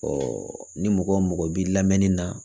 ni mɔgɔ mɔgɔ b'i lamɛnni na